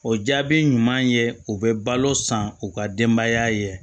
O jaabi ɲuman ye u bɛ balo san u ka denbaya ye